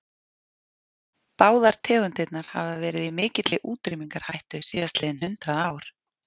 Báðar tegundirnar hafa verið í mikilli útrýmingarhættu síðastliðin hundrað ár.